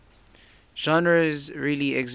genres really exist